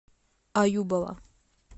аюбова